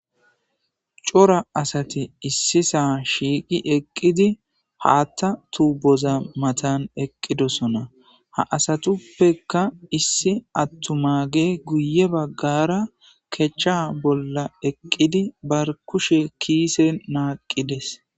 Cora asati issi saa shiiqi eqqidi haatta tuuboza matan eqqidosona ha asatuppeka issi attumage guye baggara kechcha bolla eqqidi bar kushe kiise naaqqides